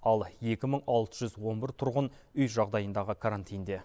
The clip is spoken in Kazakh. ал екі мың алты жүз он бір тұрғын үй жағдайындағы карантинде